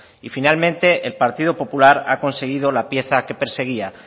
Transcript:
y finalmente el partido popular ha conseguido la pieza que perseguía